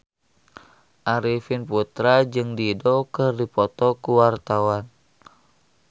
Arifin Putra jeung Dido keur dipoto ku wartawan